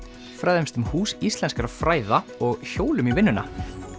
fræðumst um Hús íslenskra fræða og hjólum í vinnuna